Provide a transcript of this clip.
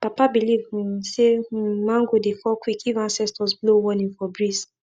papa believe um say um mango dey fall quick if ancestors blow warning for breeze